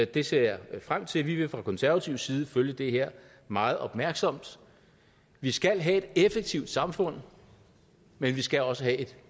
det ser jeg frem til vi vil fra konservativ side følge det her meget opmærksomt vi skal have et effektivt samfund men vi skal også have et